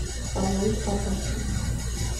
сан луис потоси